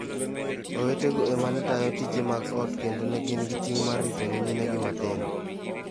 Owetego e ma ne tayo tije mag ot kendo ne gin gi ting' mar rito nyiminegi matindo.